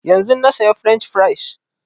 Yanzun na saya french fries